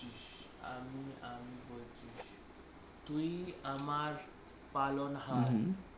আমি আমি বলছি তুই আমার পালন হার তুই আমার